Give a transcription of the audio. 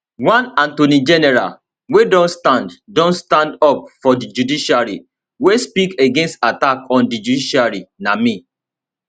one attorney general wia don stand don stand up for di judiciary wia speak against attack on di judiciary na me